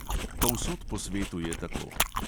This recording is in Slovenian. Povsod po svetu je tako.